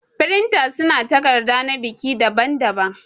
Firinta su na takarda na biki daɓan daɓan.